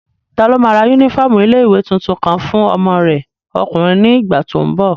Taló máa ra yúnífọ́ọ̀mù ilé-ìwé tuntun kan fún ọmọ rẹ ọkùnrin ní ìgbà tó n bọ̀?